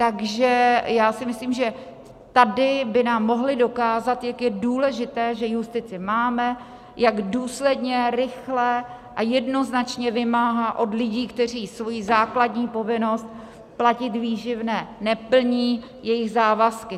Takže já si myslím, že tady by nám mohli dokázat, jak je důležité, že justici máme, jak důsledně, rychle a jednoznačně vymáhá od lidí, kteří svoji základní povinnost platit výživné neplní, jejich závazky.